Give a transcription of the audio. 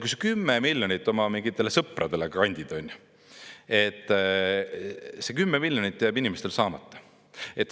Kui sa 10 miljonit oma mingitele sõpradele kandid, siis see 10 miljonit jääb inimestel saamata.